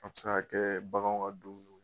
A bɛ se ka kɛɛ baganw ka duun